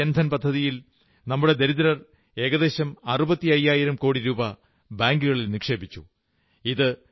പ്രധാനമന്ത്രി ജൻധൻ പദ്ധതിയിൽ നമ്മുടെ ദരിദ്രർ ഏകദേശം അറുപത്തി അയ്യായിരം കോടി രൂപാ ബാങ്കുകളിൽ നിക്ഷേപിച്ചു